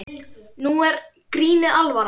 Nú er grínið alvara.